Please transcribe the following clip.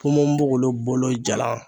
Ponponpogolon bolo jalan